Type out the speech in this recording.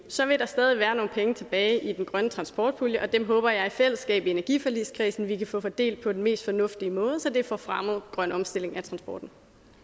så vil der stadig være nogle penge tilbage i den grønne transportpulje og dem håber jeg vi i fællesskab i energiforligskredsen kan få fordelt på den mest fornuftige måde så det får fremmet grøn omstilling af transporten